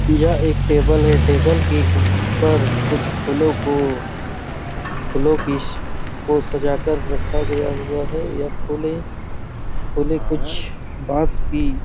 यह एक टेबल है टेबल के ऊपर कुछ फूलों को फूलों की श को सजाकर रखा गया हुआ है यह फुले फुले कुछ बाँस की--